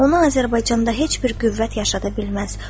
Onu Azərbaycanda heç bir qüvvət yaşada bilməz.